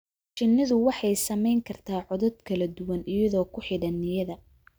Shinnidu waxay samayn kartaa codad kala duwan iyadoo ku xidhan niyadda.